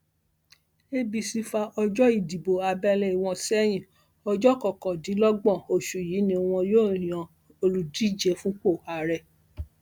apc fa ọjọ ìdìbò abẹlé wọn sẹyìn ọjọ kọkàndínlọgbọn oṣù yìí ni wọn yóò yan olùdíje fúnpọ ààrẹ